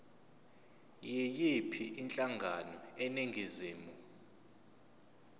yiyiphi inhlangano eningizimu